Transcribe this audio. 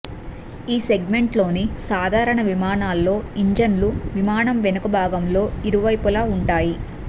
ఈ సెగ్మెంట్లోని సాధారణ విమానాల్లో ఇంజన్లు విమానం వెనుక భాగంలో ఇరువైపులా ఉంటాయి